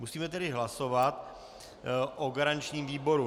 Musíme tedy hlasovat o garančním výboru.